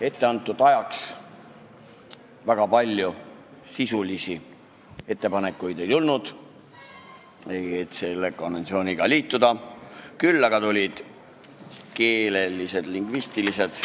Etteantud ajaks väga palju sisulisi ettepanekuid ei tulnud, et selle konventsiooniga liituda, küll aga tulid keelelised, lingvistilised.